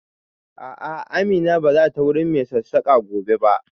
A'a, Amina ba za ta wurin mai sassaƙa gobe ba.